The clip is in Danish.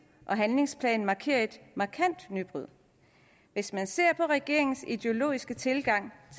og handlingsplan markerer et markant nybrud hvis man ser på regeringens ideologiske tilgang